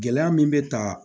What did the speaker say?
Gɛlɛya min bɛ ta